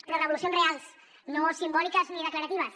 però revolucions reals no simbòliques ni declaratives